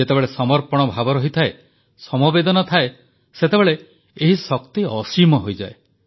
ଯେତେବେଳେ ସମର୍ପଣ ଭାବ ରହିଥାଏ ସମବେଦନା ଥାଏ ସେତେବେଳେ ଏହି ଶକ୍ତି ଅସୀମ ହୋଇଯାଏ